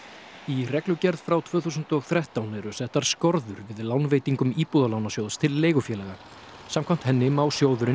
í reglugerð frá tvö þúsund og þrettán eru settar skorður við lánveitingum Íbúðalánasjóðs til leigufélaga samkvæmt henni má sjóðurinn